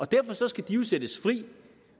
derfor skal de jo sættes fri